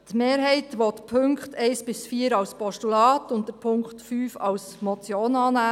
Die Mehrheit will die Punkte 1 bis 4 als Postulat und den Punkt 5 als Motion annehmen.